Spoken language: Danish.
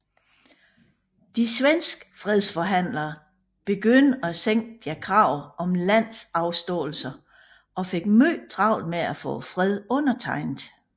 De svenske fredsforhandlere begyndte at sænke deres krav om landafståelser og fik meget travlt med at få freden undertegnet